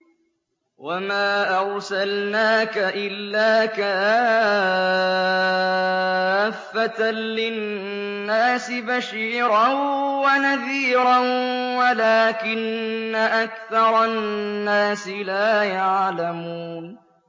وَمَا أَرْسَلْنَاكَ إِلَّا كَافَّةً لِّلنَّاسِ بَشِيرًا وَنَذِيرًا وَلَٰكِنَّ أَكْثَرَ النَّاسِ لَا يَعْلَمُونَ